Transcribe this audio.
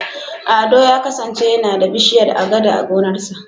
Ado ya kasance yana da bishiyar Agada a gonarsa.